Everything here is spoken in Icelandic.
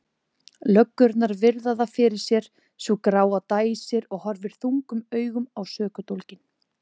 Löggurnar virða það fyrir sér, sú gráa dæsir og horfir þungum augum á sökudólginn.